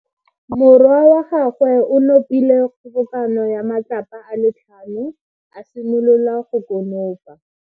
Morwa wa gagwe o nopile kgobokano ya matlapa a le tlhano, a simolola go konopa.